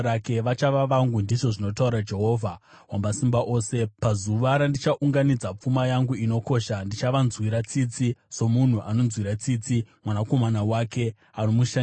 “Vachava vangu,” ndizvo zvinotaura Jehovha Wamasimba Ose, “pazuva randichaunganidza pfuma yangu inokosha. Ndichavanzwira tsitsi, somunhu anonzwira tsitsi mwanakomana wake anomushandira.